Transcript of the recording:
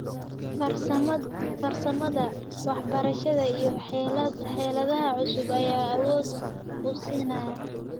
Farsamada, waxbarashada, iyo xeeladaha cusub ayaa awood u siinaya.